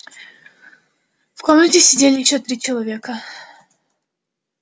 в комнате сидели ещё три человека